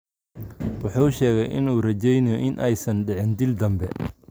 Wuxuu sheegay in uu rajaynayo in aysan dhicin dil dambe.